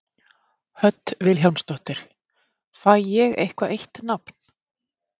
Hödd Vilhjálmsdóttir: Fæ ég eitthvað eitt nafn?